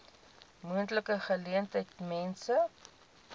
moontlike geleentheid mense